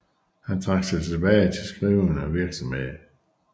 Han trak sig tilbage til skrivende virksomhed